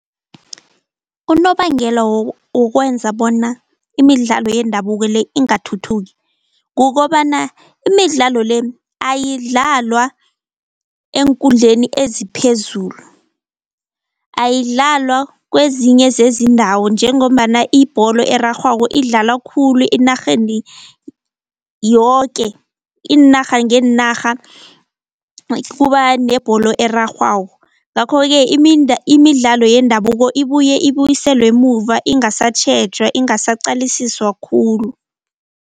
Unobangela wokwenza bona imidlalo yendabuko le ingathuthuki, kukobana imidlalo le ayidlalwa eenkundleni eziphezulu, ayidlalwa kwezinye zezindawo njengombana ibholo erarhwako idlalwa khulu enarheni yoke iinarha ngeenarha kuba nebholo erarhwako. Ngakho-ke imidlalo yendabuko ibuye ibuyiselwe emuva ingasatjhejwa, ingasaqalisiswa khulu.